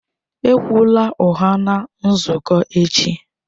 Ekwula ụgha na nzukọ echi!